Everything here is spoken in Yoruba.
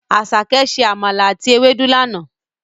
Àsàké se àmàlà àti ewédú lana.